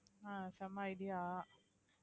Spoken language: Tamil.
ஆஹ் செம idea